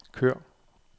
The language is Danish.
kør